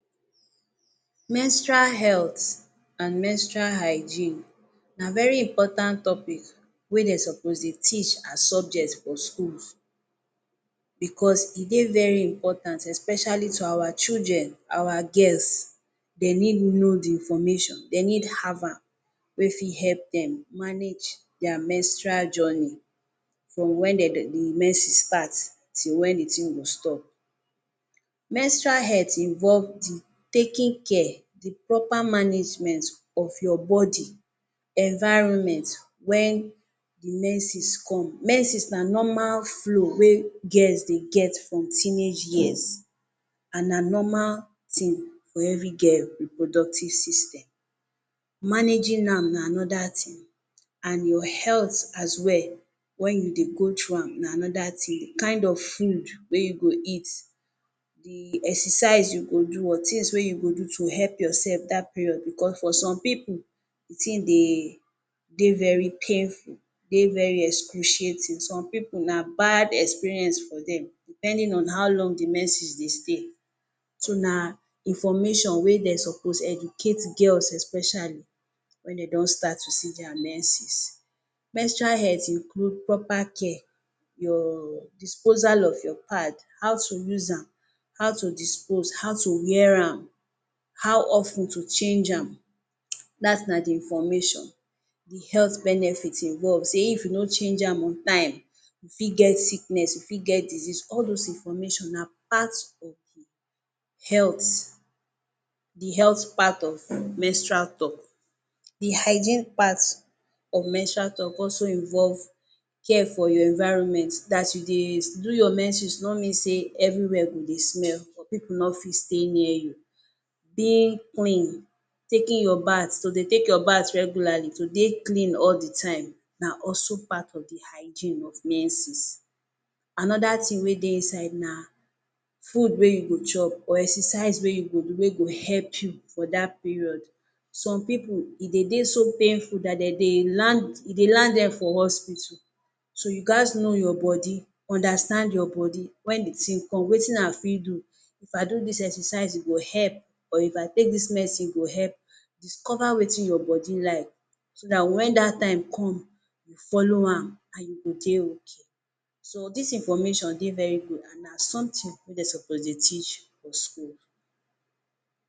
Menstrual health abs Menstrual hygiene na very important topic wey dey supposed teach as subject for school, bicos e dey very important especially to our children, our girls dem need know di information dey need have am wey fit help dem manage dia menstrual journey from wen di menses start to wen di tin go stop. Menstrual health involved di taking care, di proper management of your body environment wen menses come. Menses na normal flow wey girls dey get from teenage years and na normal tin for evri girl reproductive system. Managing am na anoda tin and your health as well wen you dey go through am, na anoda tin, di kain of food wey you go eat, exercise you go do tins wey you go do to help your sef dat period bicos for some pipu di tin de dey very painful, de very excruciating, some pipu na bad experience for dem depending on how long di menses dey stay so na information wey dem suppose educate girls especially wen dem don start to dey see dia menses. Menstrual health include proper care, your disposal of your pad, how to use am, how to dispose, how to wear am, how of ten to change am, last na di information di health benefits involved say if you no change am on time, you fit get sickness, you fit get disease, all dis information na part of di health, di health part of menstrual tok. Do hygiene part of menstrual tok also involved care for your environment dats you dey do your menses no mean say anywhere go dey smell for pipu no fit stay near you. Being clean, taking your bath, you go dey take your bath regularly to dey clean all di time na also part of di hygiene for menses. Anoda tin wey dey inside na food wey you go chop or exercise wey you go do wey go help you for dat period some pipu e dey dey so painful dat e dey land dem for hospital so gatz know your body understand your body wen di tin come wetin I fit do, if I do dis exercise e go help or if I take dis medicine e go help? Discover wetin your body like so dat Wen dat time come, you follow am and you go dey ok, so dis information dey very good and na somtin wey dem suppose teach for school.